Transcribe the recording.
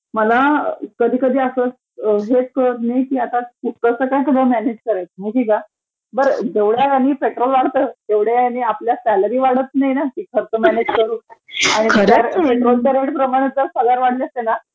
मला कधीकधी असच हे कळत नाही कि आता कूकरच काय मॅनेज करायचं माहितिहेका? बर जेवढ्या ह्यांनी पेट्रोल वाढतं तेवढ्या ह्यांनी आपल्या सॅलरी वाढत नाही ना खर्च मॅनेज करू आणि पेट्रोलवाढीप्रमाणे जर पगार वाढले असते ना